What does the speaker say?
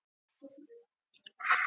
Háskólinn heldur upp á aldarafmæli